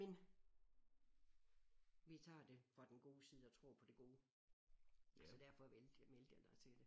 Men vi tager det fra den gode side og tror på det gode så derfor vælte meldte jeg dig til det